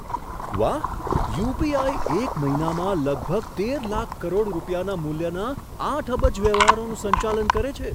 વાહ! યુ.પી.આઈ. એક મહિનામાં લગભગ તેર લાખ કરોડ રૂપિયાના મૂલ્યના આઠ અબજ વ્યવહારોનું સંચાલન કરે છે.